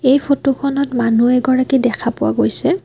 এই ফটো খনত মানুহ এগৰাকী দেখা পোৱা গৈছে।